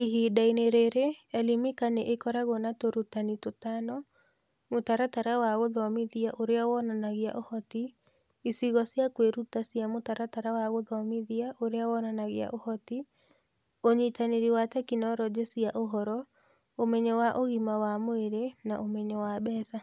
Ihinda-inĩ rĩrĩ, Elimika nĩ ĩkoragwo na tũrutani tũtano: Mũtaratara wa Gũthomithia Ũrĩa Wonanagia Ũhoti, icigo cia kwĩruta cia Mũtaratara wa Gũthomithia Ũrĩa Wonanagia Ũhoti, ũnyitanĩri wa tekinoronjĩ cia ũhoro, ũmenyo wa ũgima wa mwĩrĩ na ũmenyo wa mbeca.